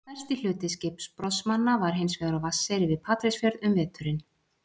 stærsti hluti skipbrotsmanna var hins vegar á vatneyri við patreksfjörð um veturinn